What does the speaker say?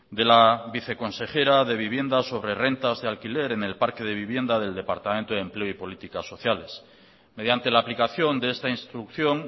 de la viceconsejera de vivienda sobre rentas de alquiler en el parque de viviendas del departamento de empleo y política sociales mediante la aplicación de esta instrucción